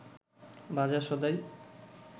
বাজার সদাই